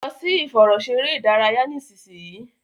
lọ sì ìfẹ̀rọṣeré ìdárayá nísìsiyìí!